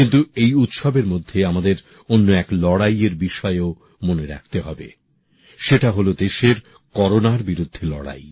কিন্তু এই উৎসবের মধ্যে আমাদের অন্য এক লড়াইয়ের বিষয়েও মনে রাখতে হবে সেটা হলো দেশের করোনার বিরুদ্ধে লড়াই